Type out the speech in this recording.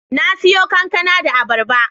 Na siyo kankana da abarba